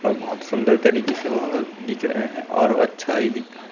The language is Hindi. और बहोत सुंदर तरीके से वह दिख रहें हैं और अच्छा ही दिख रहा--